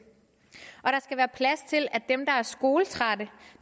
og der skal være plads til at dem der er skoletrætte